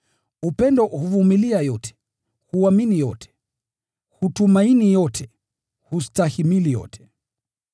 Upendo huvumilia yote, huamini yote, hutumaini yote, hustahimili yote.